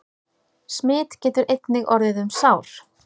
Smit getur einnig orðið um sár.